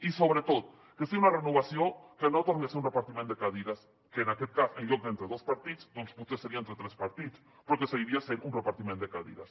i sobretot que sigui una renovació que no torni a ser un repartiment de cadires que en aquest cas en lloc d’entre dos partits doncs potser seria entre tres partits però que seguiria sent un repartiment de cadires